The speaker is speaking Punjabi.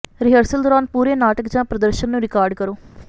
ਰਿਹਰਸਲ ਦੌਰਾਨ ਪੂਰੇ ਨਾਟਕ ਜਾਂ ਪ੍ਰਦਰਸ਼ਨ ਨੂੰ ਰਿਕਾਰਡ ਕਰੋ